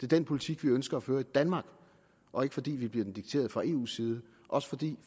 den politik vi ønsker at føre i danmark og ikke fordi vi får den dikteret fra eus side også fordi